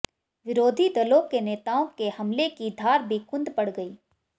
विरोधी दलों के नेताओं के हमले की धार भी कुंद पड़ गई